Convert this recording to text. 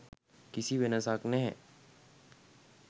කිසි වෙනසක් නැහැ.